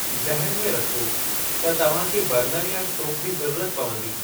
ज़हन में रखो त तव्हां खे बर्नर या स्टोप जी ज़रूरत पवंदी।